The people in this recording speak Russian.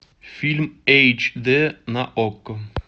фильм эйч дэ на окко